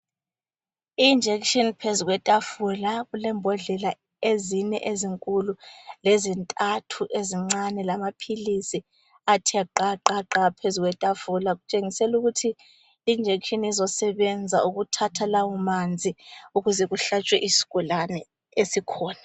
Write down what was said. I injekitshini phezu kwetafula, kule mbodlela ezine ezinkulu lezintathu ezincane lamaphilisi athe gqa, gqa, gqa phezu kwetafula kutshengisela ukuthi i injekitshini izosebenza ukuthatha lawo manzi ukuze kuhlatshwe isigulane esikhona.